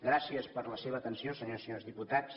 gràcies per la seva atenció senyors i senyores diputats